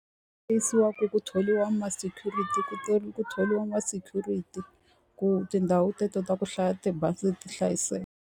ku thoriwa ma-security ku ku thoriwa ma-security ku tindhawu teto ta ku hlaya tibazi ti hlayiseka.